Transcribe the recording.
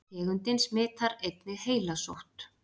tegundin smitar einnig heilasótt